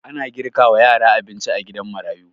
Ana girka wa yara abinci a gidan marayu